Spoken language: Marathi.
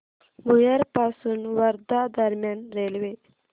भुयार पासून वर्धा दरम्यान रेल्वे